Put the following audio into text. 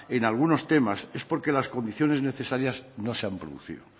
en algunos temas es porque las condiciones necesarias no se han producido